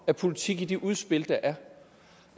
af politikken i de udspil der